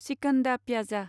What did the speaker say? chicken do pyaza